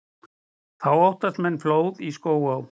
Þá óttist menn flóð í Skógaá.